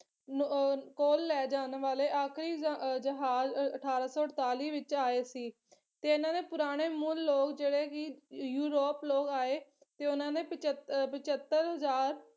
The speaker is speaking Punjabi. ਨੂੰ ਅਹ ਕੋਲ ਲੈ ਜਾਣ ਵਾਲੇ ਆਖਰੀ ਜ ਜਹਾਜ਼ ਅਠਾਰਾਂ ਸੌ ਅੜਤਾਲੀ ਵਿੱਚ ਆਏ ਸੀ ਤੇ ਇਹਨਾਂ ਦਾ ਪੁਰਾਣ ਮੂਲ ਲੋਕ ਜਿਹੜੇ ਕੀ ਯੂਰੋਪ ਲੋਕ ਆਏ ਤੇ ਉਹਨਾਂ ਨੇ ਪਚੱਤ ਅਹ ਪਚੱਤਰ ਹਜ਼ਾਰ